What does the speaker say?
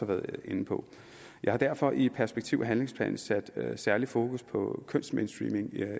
været inde på jeg har derfor i perspektiv og handlingsplanen sat særligt fokus på kønsmainstreaming